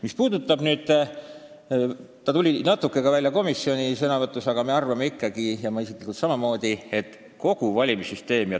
Mis puudutab kogu valimissüsteemi, siis natuke tuli välja ka komisjonis, et me arvame ikkagi nii – ja ma isiklikult samamoodi –, et seda tuleb käsitada tervikuna.